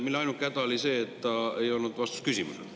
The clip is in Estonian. Selle ainuke häda oli küll see, et ta ei olnud vastus küsimusele.